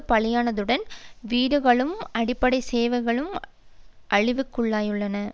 பலியானதுடன் வீடுகளும் அடிப்படை சேவைகளும் அழிவுக்குள்ளாகியுள்ளன